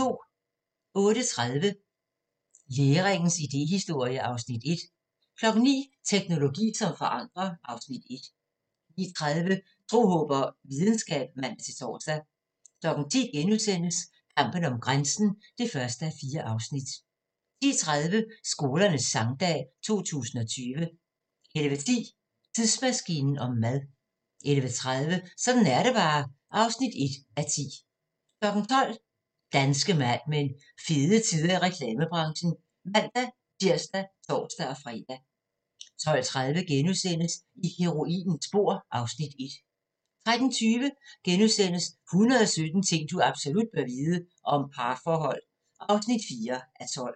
08:30: Læringens idéhistorie (Afs. 1) 09:00: Teknologi som forandrer (Afs. 1) 09:30: Tro, håb og videnskab (man-tor) 10:00: Kampen om grænsen (1:4)* 10:30: Skolernes Sangdag 2020 11:10: Tidsmaskinen om mad 11:30: Sådan er det bare (1:10) 12:00: Danske Mad Men: Fede tider i reklamebranchen (man-tir og tor-fre) 12:30: I heroinens spor (Afs. 1)* 13:20: 117 ting du absolut bør vide - om parforhold (4:12)*